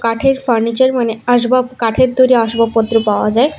কাঠের ফার্নিচার মানে আসবাব কাঠের তৈরি আসবাবপত্র পাওয়া যায়।